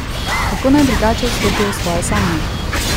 Kako naj drugače vstopijo v svoje sanje?